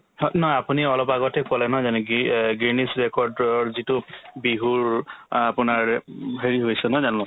হ নহয় আপুনি অলপ আগতে ক'লে নহয় জানো গ্ৰি~ অ guinness record ৰ যিটো বিহুৰ আপোনাৰ উম হেৰি হৈছে নহয় জানো